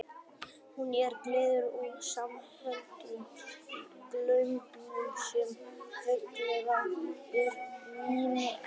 Hún er gerð úr smámuldum glerögnum sem venjulega eru minni en